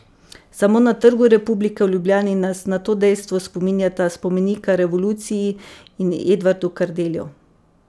Samo na Trgu republike v Ljubljani nas na to dejstvo spominjata spomenika revoluciji in Edvardu Kardelju.